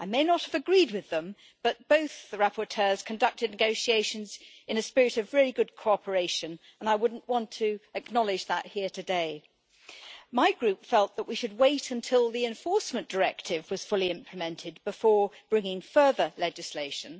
I may not have agreed with them, but both the rapporteurs conducted negotiations in a spirit of really good cooperation and I want to acknowledge that here today. My Group felt that we should wait until the Enforcement Directive was fully implemented before bringing further legislation.